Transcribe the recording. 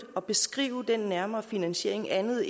at beskrive den nærmere finansiering andet